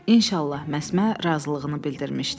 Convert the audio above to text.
İnşallah Məsmə razılığını bildirmişdi.